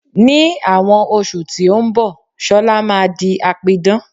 Ní àwọn oṣù tí ó ń bọ̀, Sola máa di apidán